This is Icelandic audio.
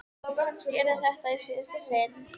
Og kannski yrði þetta í síðasta sinn.